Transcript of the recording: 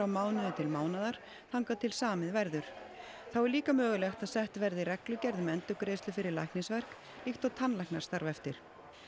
mánuði til mánaðar þangað til samið verður þá er líka mögulegt að sett verði reglugerð um endurgreiðslu fyrir læknisverk líkt og tannlæknar starfa eftir